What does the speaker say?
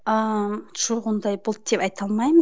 ыыы жоқ ондай болды деп айта алмаймын